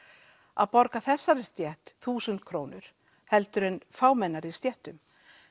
að borga þessari stétt þúsund krónur heldur en fámennari stéttum